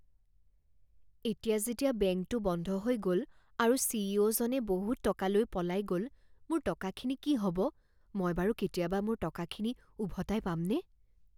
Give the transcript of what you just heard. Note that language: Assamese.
এতিয়া যেতিয়া বেংকটো বন্ধ হৈ গ'ল আৰু চি ই অ' জনে বহুত টকা লৈ পলাই গ'ল মোৰ টকাখিনি কি হ'ব? মই বাৰু কেতিয়াবা মোৰ টকাখিনি উভতাই পামনে?